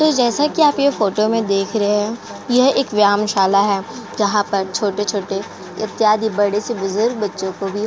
तो जैसा की आप ये फोटो में देख रहे हैं। यह एक व्यायाम शाला है। जहाँ पर छोटे छोटे इत्यादि बड़े से बुजुर्ग बच्चों को भी --